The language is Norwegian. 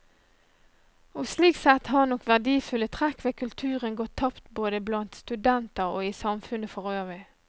Og slik sett har nok verdifulle trekk ved kulturen gått tapt både blant studenter og i samfunnet forøvrig.